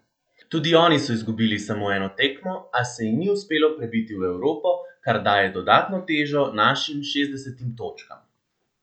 Tudi oni so izgubili samo eno tekmo, a se jim ni uspelo prebiti v Evropo, kar daje dodatno težo našim šestdesetim točkam.